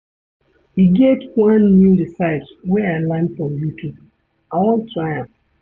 E get one new recipes wey I learn from YouTube, I wan try am.